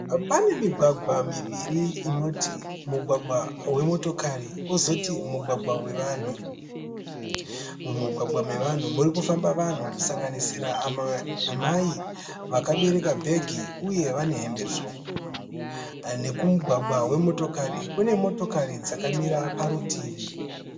Pane migwagwa miviri inoti mugwagwagwa wemotokari kozoti mugwagwa wevanhu. Mumugwagwa mevanhu muri kufamba vanhu kusanganisira amai vakabereka bhegi uye vane hembe tsvuku, nekumugwagwa wemotokari kune motokari dzakamira parutivi.